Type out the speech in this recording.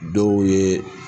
Dɔw ye